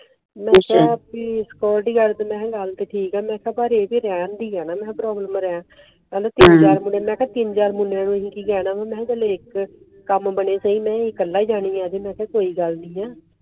ਨਸ਼ਿਆਂ ਦੀ security ਮੈਂ ਕਿਹਾ ਗੱਲ ਤੇਰੀ ਠੀਕ ਆ ਪਰ ਇਹਦੇ ਰਹਿਣ ਦੀ ਹੈ ਨਾ problem ਰਹਿਣ ਕਲ ਤਿਨ ਚਾਰ ਮੁੰਡੇ, ਮੈ ਕਿਹਾ ਤਿਨ ਚਾਰ ਮੁੰਡੇ ਨੂੰ ਐਸੀ ਕਿ ਕਹਿਣਾ ਮੈ ਕਿਹਾ ਇਕ ਕਮ ਬਣੇ ਸਹੀ ਮੈ ਏ ਕੱਲਾ ਹੀ ਜਾਣੀ ਆ ਅਜੇ ਮੈ ਕਿਹਾ ਕੋਈ ਗੱਲ ਨੀ ਆ